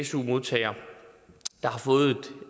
su modtager der har fået